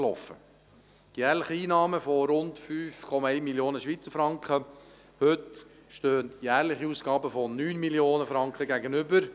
Den jährlichen Einnahmen in der Höhe von rund 5,1 Mio. Franken stehen jährliche Ausgaben in der Höhe von 9 Mio. Franken gegenüber.